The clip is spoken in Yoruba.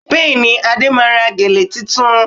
Bẹ́ẹ̀ni, Ade máa ra gèlè tuntun